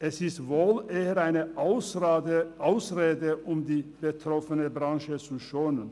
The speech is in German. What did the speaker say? Es ist wohl eher eine Ausrede, um die betroffene Branche zu schonen.